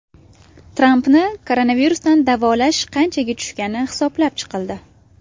Trampni koronavirusdan davolash qanchaga tushgani hisoblab chiqildi.